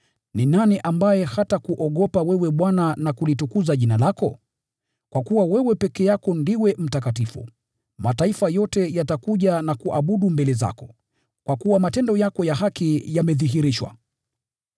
Ni nani ambaye hatakuogopa wewe Bwana na kulitukuza jina lako? Kwa kuwa wewe peke yako ndiwe mtakatifu. Mataifa yote yatakuja na kuabudu mbele zako, kwa kuwa matendo yako ya haki yamedhihirishwa.”